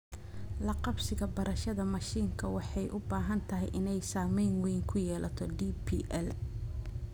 La-qabsiga barashada mashiinka, waxay u badan tahay inay saameyn weyn ku yeelato DPL.